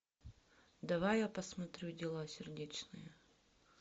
давай я посмотрю дела сердечные